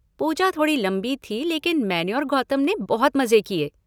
पूजा थोड़ी लंबी थीं लेकिन मैंने और गौतम ने बहुत मज़े किए।